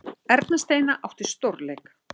Erla Steina átti stórleik